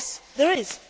Yes, there is.